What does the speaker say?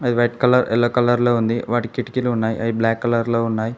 Red colour yellow colour లో ఉంది వాటి కిటికీలు ఉన్నాయి బ్లాక్ కలర్ లో ఉన్నాయి.